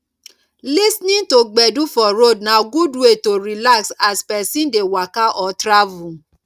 lis ten ing to gbedu for road na good way to relax as person dey waka or travel